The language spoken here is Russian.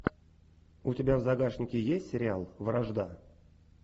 у тебя в загашнике есть сериал вражда